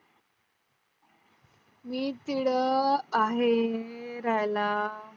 मी